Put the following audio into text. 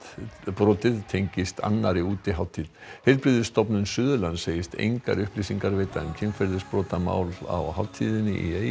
brotið tengist annarri útihátíð heilbrigðisstofnun Suðurlands segist engar upplýsingar veita um kynferðisbrotamál á hátíðinni